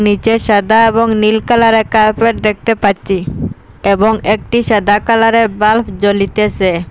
নীচে সাদা এবং নীল কালারের কার্পেট দেখতে পাচ্চি এবং একটি সাদা কালারের বাল্ব জ্বলিতেসে।